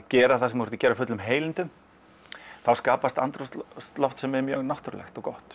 gera það sem þú ert að gera af fullum heilindum þá skapast andrúmsloft sem er mjög náttúrulegt og gott